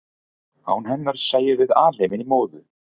án hennar sæjum við alheiminn í móðu